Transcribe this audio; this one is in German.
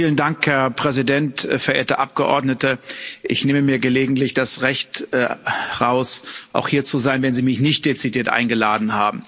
Herr Präsident, verehrte Abgeordnete, ich nehme mir gelegentlich das Recht heraus, auch hier zu sein, wenn Sie mich nicht dezidiert eingeladen haben.